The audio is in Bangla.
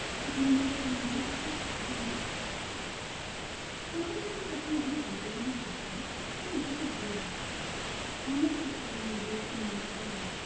তবু মনে হবে তার নিজের কিচ্ছু নেই প্রথম প্রথম মানুষ যখন depression এ থাকেন তখন নিজেকে বোঝান অনেক চেষ্টা করে নিজের মনের সাথে লড়তে